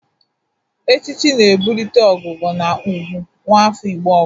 Echichi na-ebulite ogogo na ugwu nwafọ Igbo ọ bụla.